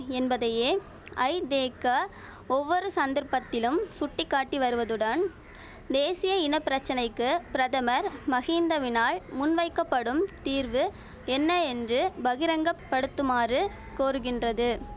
என்பதையே ஐதேக ஒவ்வொரு சந்தர்ப்பத்திலும் சுட்டி காட்டி வருவதுடன் தேசிய இன பிரச்சனைக்கு பிரதமர் மகிந்தவினால் முன் வைக்கப்படும் தீர்வு என்ன என்று பகிரங்கப்படுத்துமாறு கோருகின்றது